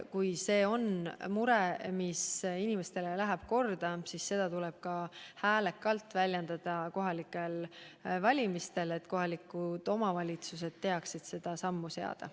Kui see on mure, mis läheb inimestele korda, siis seda tuleb ka häälekalt väljendada kohalikel valimistel, et kohalikud omavalitsused teaksid sammu seada.